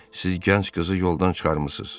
Siz gənc qızı yoldan çıxarmısınız.